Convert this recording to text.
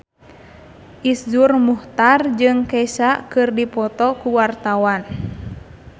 Iszur Muchtar jeung Kesha keur dipoto ku wartawan